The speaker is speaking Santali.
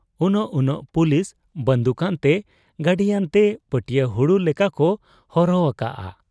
ᱩᱱᱟᱹᱜ ᱩᱱᱟᱹᱜ ᱯᱩᱞᱤᱥ ᱵᱟᱺᱫᱩᱠ ᱟᱱᱛᱮ ᱜᱟᱹᱰᱤᱟᱱᱛᱮ ᱯᱟᱹᱴᱤᱭᱟᱹ ᱦᱩᱲᱩ ᱞᱮᱠᱟᱠᱚ ᱦᱚᱨᱦᱚ ᱟᱠᱟᱜ ᱟ ᱾